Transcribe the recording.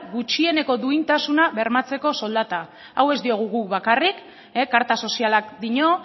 gutxieneko duintasuna bermatzeko soldata hau ez diogu guk bakarrik karta sozialak dio